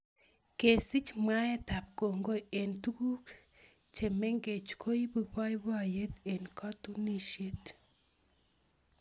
kesich mwaetab kongoi eng tuguuk che mengeech koibu boiboiyeet eng katunisiet